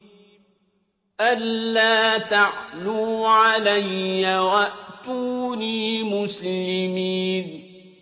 أَلَّا تَعْلُوا عَلَيَّ وَأْتُونِي مُسْلِمِينَ